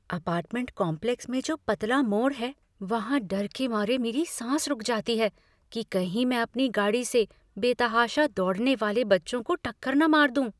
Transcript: Apartment complex में जो पतला मोड़ है वहाँ डर के मारे मेरी साँस रुक जाती है कि कहीं मैं अपनी गाड़ी से बेतहाशा दौड़ने वाले बच्चों को टक्कर न मार दूँ।